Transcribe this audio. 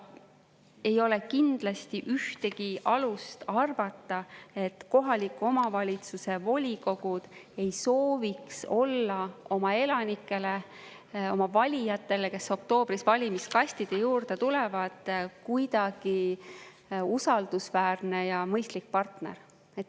Ei ole kindlasti ühtegi alust arvata, et kohaliku omavalitsuse volikogud ei sooviks olla oma elanikele, oma valijatele, kes oktoobris valimiskastide juurde tulevad, kuidagi usaldusväärne ja mõistlik partner.